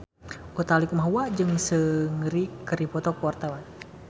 Utha Likumahua jeung Seungri keur dipoto ku wartawan